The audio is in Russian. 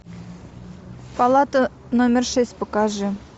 палата номер шесть покажи